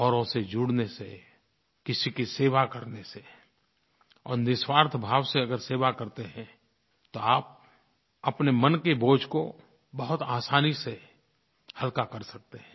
औरों से जुड़ने से किसी की सेवा करने से और निःस्वार्थ भाव से अगर सेवा करते हैं तो आप अपने मन के बोझ को बहुत आसानी से हल्का कर सकते है